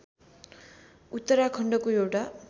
उत्तराखण्डको एउटा